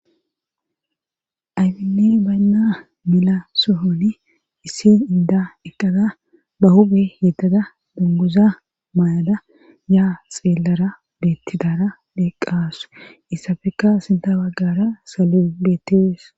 aybinne baynna mela sohoni issi inda eqqada ba huphe yeddada bunguza maayada yaa xeellara beettidara eqqasu izafekka sinta wbaggara saloy beettees